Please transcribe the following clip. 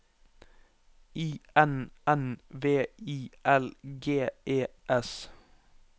I N N V I L G E S